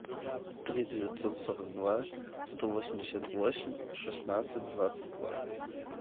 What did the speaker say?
три девятьсот сорок два сто восемьдесят восемь шестнадцать двадцать два